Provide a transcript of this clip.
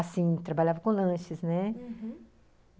Assim, trabalhava com lanches, né? Uhum.